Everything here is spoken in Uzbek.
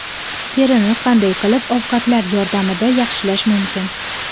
Terini qanday qilib ovqatlar yordamida yaxshilash mumkin?.